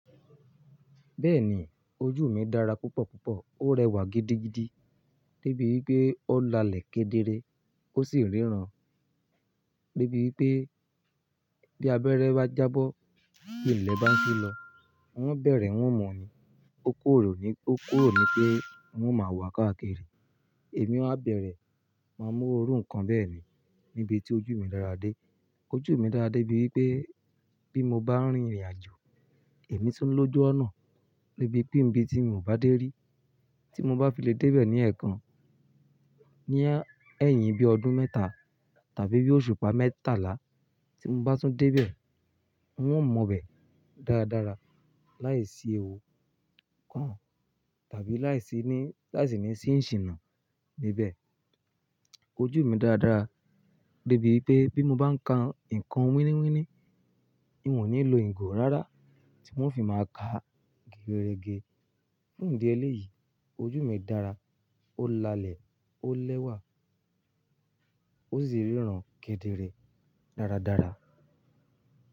Bẹ́ẹ̀ni, ojú mi dára púpọ̀ púpọ̀, ó rẹwà gidigidi débi wípé ó lalẹ̀ kedere, ó sì ríran débi wípé bí abẹ́rẹ́ bá jábọ́, bí ilẹ̀ bá ń ṣú lọ, n ó bẹ̀rẹ̀ n ó mu ní, ó kúrò ní pé, ó kúrò ní pé n o máa wá káàkiri. Èmi ọ á bẹ̀rẹ̀, máa mú orú nǹkan bẹ́ẹ̀ ni níbi tí ojú mi dára dé. Ojú mi dára dé bí wípé bí mo bá rin ìrìnàjò, èmi tún lójú ọ̀nà níbi pé níbi tí mi ò bá dé rí, tí mo bá fi lè dé bẹ̀ ní ẹ̀ẹ̀kan, ní ẹ́hìn bí ọdún mẹ́ta tàbí bí òṣùpá mẹ́tàlá tí mo bá tún dé bẹ̀, n ò mọ bẹ̀ dáradára láìsí ewu kàn tàbí láìsí ní, láìsí ní ṣí ìṣìná níbẹ̀. Ojú mi dára dára dé bí wípé bí mo bá ń ka nǹkan wíníwíní, ng ò ńí lo ìgò rárá tí ng o fi máa kàá geerege. Fún ìdí ẹlẹ́ yìí, ojú mi dára, ó lalẹ̀, ó lẹ́wà, ó sì ríran kedere dáradára.